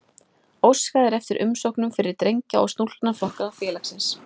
Óskað er eftir umsóknum fyrir drengja- og stúlknaflokka félagsins.